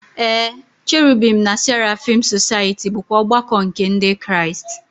Ee, Cherubim na Seraphim Society bụkwa ọgbakọ nke Ndị Kraịst.